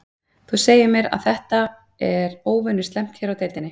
Þú segir mér að þetta, er óvenju slæmt hér á deildinni?